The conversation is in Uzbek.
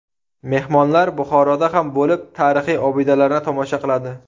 Mehmonlar Buxoroda ham bo‘lib, tarixiy obidalarni tomosha qiladi.